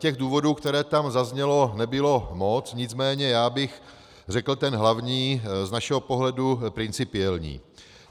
Těch důvodů, které tam zazněly, nebylo moc, nicméně já bych řekl ten hlavní, z našeho pohledu principiální.